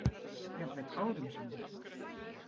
Jafnvel árum saman.